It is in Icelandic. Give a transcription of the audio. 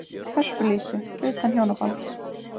Hörpu Lísu, utan hjónabands.